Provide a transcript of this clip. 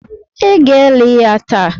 Ị ga-eli ya taa!